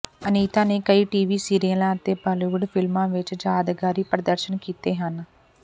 ਅਨੀਤਾ ਨੇ ਕਈ ਟੀਵੀ ਸੀਰੀਅਲਾਂ ਅਤੇ ਬਾਲੀਵੁੱਡ ਫਿਲਮਾਂ ਵਿਚ ਯਾਦਗਾਰੀ ਪ੍ਰਦਰਸ਼ਨ ਕੀਤੇ ਹਨ